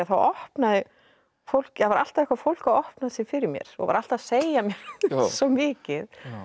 opnaði fólk það var alltaf eitthvað fólk að opna sig fyrir mér og var alltaf að segja mér svo mikið